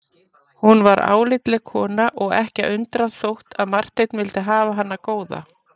Hún var álitleg kona og ekki að undra þótt að Marteinn vildi hafa hana góða.